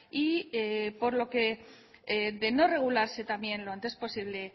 y por lo que de no regularse también lo antes posible